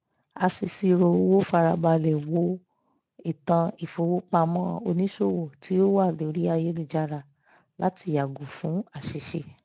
aṣèṣirò owó farabalẹ̀ wo ìtàn ìfowópamọ́ onísòwò tí ó wà lórí ayélujára láti yàgò fún àṣìṣe